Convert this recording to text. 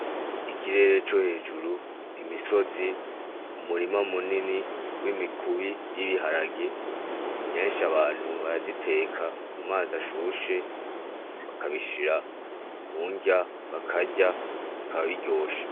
Ikirere co hejuru, imisozi, umurima munini w'imikubi y'ibiharage, kenshi abantu barayiteka mumazi ashushe bakabishira munrya bakarya bikaba biryoshe.